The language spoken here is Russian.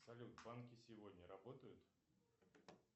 салют банки сегодня работают